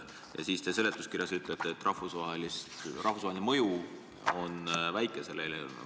Ja siis väidate seletuskirjas, et selle eelnõu rahvusvaheline mõju on väike.